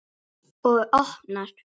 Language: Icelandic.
Og opnar.